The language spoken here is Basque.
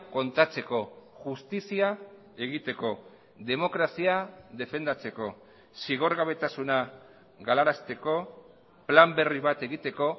kontatzeko justizia egiteko demokrazia defendatzeko zigorgabetasuna galarazteko plan berri bat egiteko